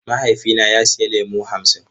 Mahaifina ya sayi lemu hamsin.